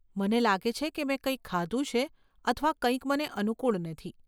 મને લાગે છે કે મેં કંઈક ખાધું છે અથવા કંઈક મને અનુકૂળ નથી.